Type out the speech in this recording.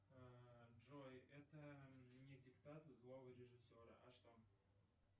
джой это не диктат злого режиссера а что